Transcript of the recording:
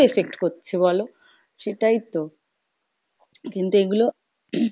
effect হচ্ছে বলো? সেটাই তো, কিন্তু এগুলো